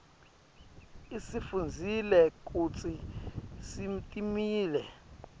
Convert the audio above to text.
asifundzisa kutsi sitimele